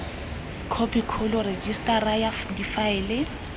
khophi kgolo rejisetara ya difaele